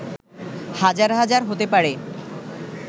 হাজার হাজার হতে পারে